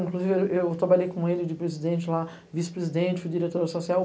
Inclusive, eu trabalhei com ele de presidente lá, vice-presidente, fui diretora social